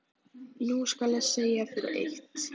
Nú skal ég segja þér eitt.